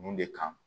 Mun de kan